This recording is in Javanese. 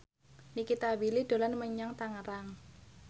Nikita Willy dolan menyang Tangerang